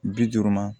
Bi duuru ma